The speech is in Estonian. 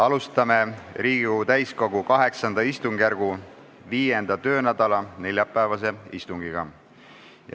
Alustame Riigikogu täiskogu VIII istungjärgu 5. töönädala neljapäevast istungit.